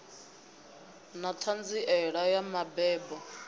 ḓa na ṱhanziela ya mabebo